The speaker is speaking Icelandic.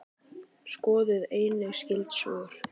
Skoðið einnig skyld svör